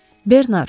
Bernar.